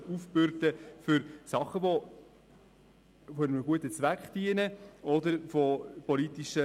Diesen Veranstaltern dürfen die Kosten nicht aufgebürdet werden.